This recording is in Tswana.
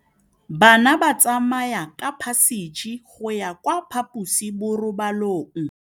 Bana ba tsamaya ka phašitshe go ya kwa phaposiborobalong.